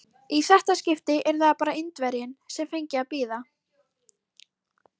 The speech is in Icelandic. Þú skiptir á milli veiðihunds og fjárhunds alveg eftir hentugleikum.